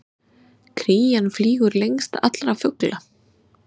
Krían flýgur lengst allra fugla!